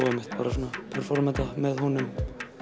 og einmitt performa þetta með honum